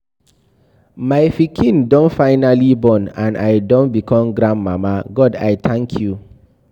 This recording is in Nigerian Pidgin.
My pikin do finally born and I don become grandmama. God I thank you.